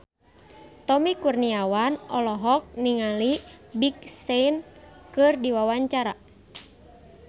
Tommy Kurniawan olohok ningali Big Sean keur diwawancara